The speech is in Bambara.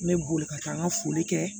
N bɛ boli ka taa n ka foli kɛ